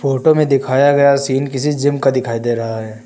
Photo में दिखाया गया सीन किसी जिम का दिखाई दे रहा है।